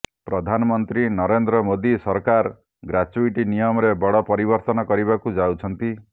ପ୍ରଧାନମନ୍ତ୍ରୀ ନରେନ୍ଦ୍ର ମୋଦି ସରକାର ଗ୍ରାଚ୍ୟୁଟି ନିୟମରେ ବଡ ପରିବର୍ତ୍ତନ କରିବାକୁ ଯାଉଛନ୍ତି